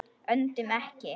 Öndum ekki.